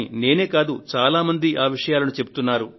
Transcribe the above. నేను కాదు చాలా మంది ఈ విషయాలను చెబుతున్నారు